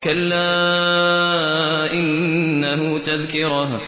كَلَّا إِنَّهُ تَذْكِرَةٌ